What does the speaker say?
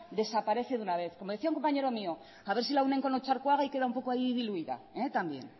desaparece de una vez como decía un compañero mío a ver si la unen con otxarkoaga y queda un poco ahí diluida también